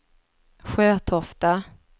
Sjötofta